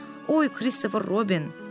Oy Kristofer Robin.